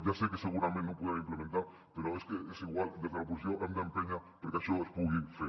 ja sé que segurament no ho podrem implementar però és que és igual des de l’oposició hem d’empènyer perquè això es pugui fer